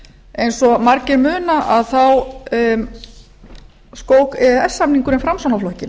eins og margir muna þá skók e e s samningurinn framsóknarflokkinn